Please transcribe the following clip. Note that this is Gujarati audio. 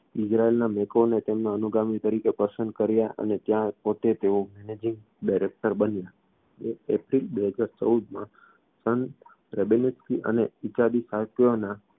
ઇઝરાઇલ મૅકોવને તેમના અનુગામી તરીકે પસંદ કર્યા અને ત્યાં પોતે તેઓ managing director બન્યા એક એપ્રિલ બે હજાર ચૌદમાં સન રેબેક્સી અને ના